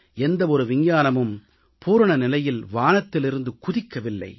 எந்த ஒரு விஞ்ஞானமும் பூரண நிலையில் வானத்திலிருந்து குதிக்கவில்லை